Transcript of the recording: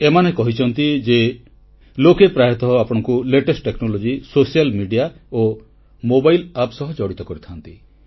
ଏମାନେ କହିଛନ୍ତି ଯେ ଲୋକେ ପ୍ରାୟତଃ ଆପଣଙ୍କୁ ସର୍ବାଧୁନିକ ପ୍ରଯୁକ୍ତି ସାମାଜିକ ଗଣମାଧ୍ୟମ ଓ ମୋବାଇଲ ଆପ୍ ସହ ଜଡ଼ିତ କରିଥାନ୍ତି